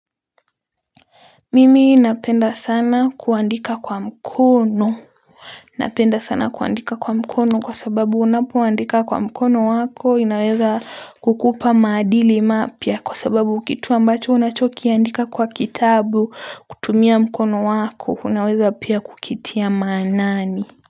Mimi napenda sana kuandika kwa mkono. Napenda sana kuandika kwa mkono kwa sababu unapoandika kwa mkono wako inaweza kukupa madili mapya kwa sababu kitu ambacho unachokiandika kwa kitabu kutumia mkono wako unaweza pia kukitia maanani.